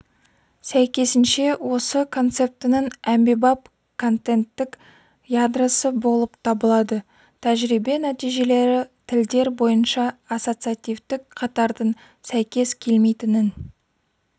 сәйкесінше осы концептінің әмбебап контенттік ядросы болып табылады тәжірибе нәтижелері тілдер бойынша ассоциативтік қатардың сәйкес келмейтінін